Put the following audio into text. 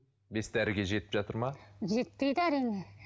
бес дәріге жетіп жатыр ма жетпейді әрине